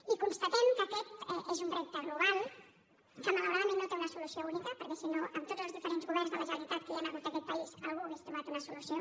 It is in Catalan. i constatem que aquest és un repte global que malauradament no té una solució única perquè si no amb tots els diferents governs de la generalitat que hi han hagut en aquest país algú hi hauria trobat una solució